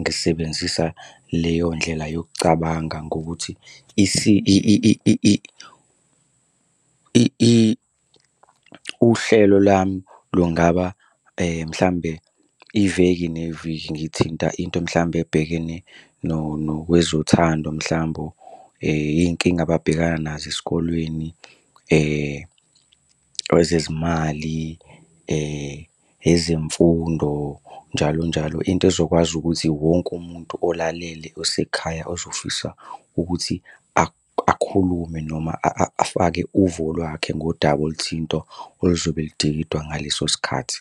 ngisebenzisa leyo ndlela yokucabanga ngokuthi uhlelo lami lungaba mhlambe iveki neviki. Ngithinta into mhlawumbe ebhekene nokwezothando mhlambe, yinkinga ababhekana nazo esikolweni, kwezezimali, ezemfundo njalo njalo. Into ezokwazi ukuthi wonke umuntu olalele osekhaya ozofisa ukuthi akhulume noma afake uvo lwakhe ngodaba oluthinta oluzobe ludingidwa ngaleso sikhathi.